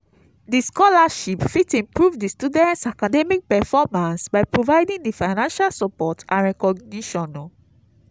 di scholarship fit improve di students' academic performance by providing di financial support and recognition.